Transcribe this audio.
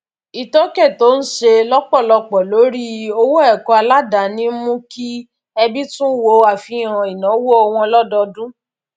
ìtókè tó ń ṣe lọpọlọpọ lórí owó ẹkọ aládani ń mú kí ẹbí tún wo àfihàn ináwó wọn lódodún